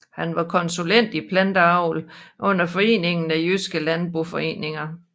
Han var konsulent i planteavl under Foreningen af jydske Landboforeninger